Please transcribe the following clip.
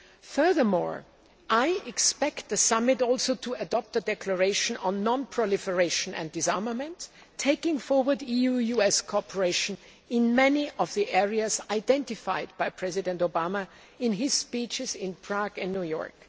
Furthermore, I expect the summit also to adopt a declaration on non proliferation and disarmament, taking forward EU US cooperation in many of the areas identified by President Obama in his speeches in Prague and New York.